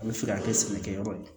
A bɛ fɛ ka kɛ sɛnɛkɛyɔrɔ ye